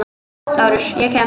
LÁRUS: Ég kem.